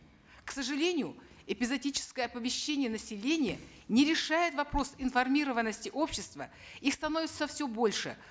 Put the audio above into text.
к сожалению эпизодическое оповещение населения не решает вопрос информированности общества их становится все больше